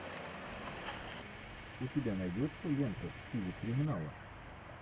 у тебя найдется лента в стиле криминала